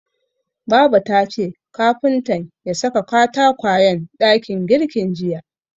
Baba tace kafuntan ya saka katakwayen dakin girkin jiya.